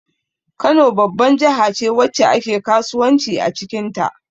Kano babban jahace wacce ake kasuwanci acikin ta